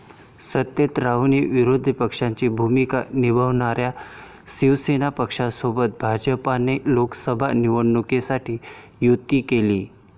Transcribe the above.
सत्तेत राहूनही विरोधी पक्षाची भूमिका निभावणाऱ्या शिवसेना पक्षासोबत भाजपने लोकसभा निवडणुकीसाठी युती केली.